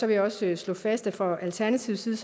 jeg også slå fast at det for alternativet